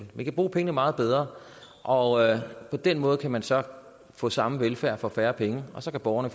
vi kan bruge pengene meget bedre og på den måde kan man så få samme velfærd for færre penge og så kan borgerne